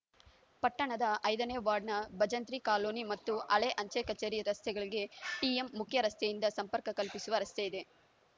ಪಟ್ಟಣದ ಐದನೇ ವಾರ್ಡ್‌ನ ಭಜಂತ್ರಿ ಕಾಲೋನಿ ಮತ್ತು ಹಳೇ ಅಂಚೆ ಕಚೇರಿ ರಸ್ತೆಗಳಿಗೆ ಟಿಎಂ ಮುಖ್ಯ ರಸ್ತೆಯಿಂದ ಸಂಪರ್ಕ ಕಲ್ಪಿಸುವ ರಸ್ತೆಯಿದೆ